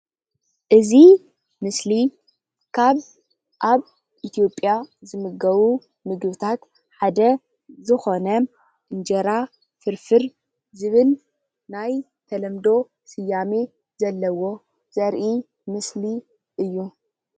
እዚ ምስሊ ካብ ኣብ ኢትዮጵያ ዝምገቡ ምግብታት ሓደ ዝኾነ እንጀራ ፍርፍር ዝብል ናይ ተለምዶ ስያመ ዘለዎ ዘሪኢ ምስሊ እዩ።